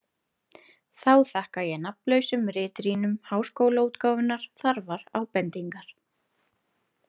Þá þakka ég nafnlausum ritrýnum Háskólaútgáfunnar þarfar ábendingar.